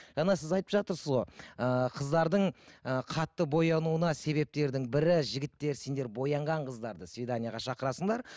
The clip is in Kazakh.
жаңа сіз айтып жатырсыз ғой ыыы қыздардың ы қатты боянауына себептердің бірі жігіттер сендер боянған қыздарды свиданиеге шақырасыңдар